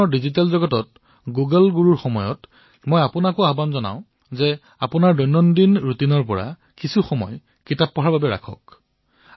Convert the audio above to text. আজি ডিজিটেল বিশ্বত গুগল গুৰুৰ সময়ত মই আপোনালোককো আহ্বান জনাম যে অলপ সময় উলিয়াই নিজৰ দৈনন্দিন জীৱনত কিতাপকো যাতে নিশ্চয়কৈ স্থান দিয়ে